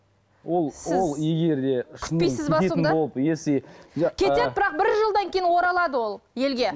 ол ол егер де күтпейсіз бе сонда кетеді бірақ бір жылдан кейін оралады ол елге